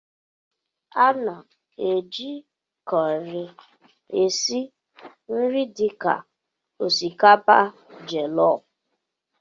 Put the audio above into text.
A na-eji kọrị esi nri dị ka osikapa jellof.